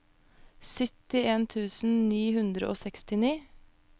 syttien tusen ni hundre og sekstini